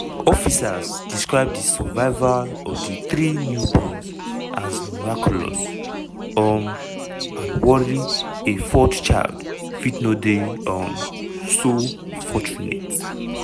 officers describe di survival of di three newborns as "miraculous" um and worry a fourth child fit no dey um so fortunate.